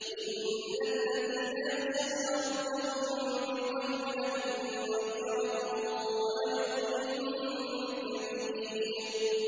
إِنَّ الَّذِينَ يَخْشَوْنَ رَبَّهُم بِالْغَيْبِ لَهُم مَّغْفِرَةٌ وَأَجْرٌ كَبِيرٌ